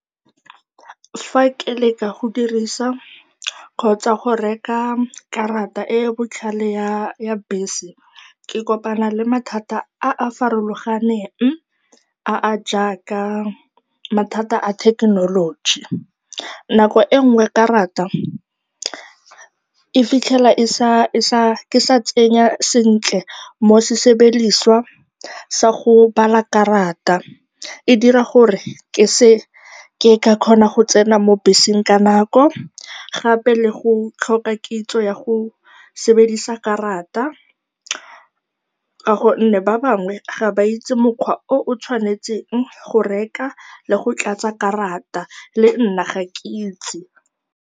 Fa ke leka go dirisa kgotsa go reka karata e e botlhale ya bese, ke kopana le mathata a a farologaneng a a jaaka mathata a thekenoloji. Nako e nngwe karata ke fitlhela ke sa tsenya sentle mo sebediswa sa go bala karata. E dira gore ke se ke ka kgona go tsena mo beseng ka nako, gape le go tlhoka kitso ya go sebedisa karata ka gonne ba bangwe ga ba itse mokgwa o o tshwanetseng go reka le go tlatsa karata, le nna ga ke itse.